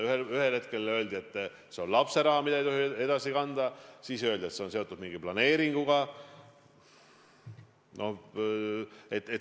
Ühel hetkel öeldi, et see on lapse raha, mida ei tohi edasi kanda, siis öeldi, et see on seotud mingi planeeringuga.